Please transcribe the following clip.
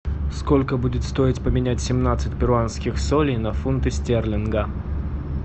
сколько будет стоить поменять семнадцать перуанских солей на фунты стерлинга